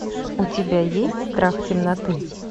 у тебя есть страх темноты